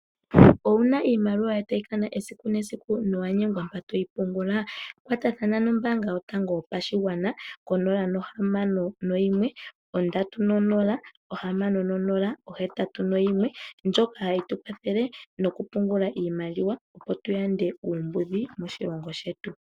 Owuna iimaliwa yoye tayi kana esiku nesiku na owa nyengwa mpoka toyi pungula, kwatathana nombanga yotango yopashigwana konomola 061306081 ndjoka hayi tukwathele moku pungula iimaliwa, opo tu yande oombudhi moshilongo shetu.